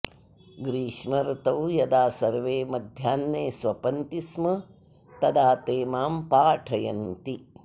ग्रीष्मर्तौ यदा सर्वे मध्याह्ने स्वपन्ति स्म तदा ते मां पाठयन्ति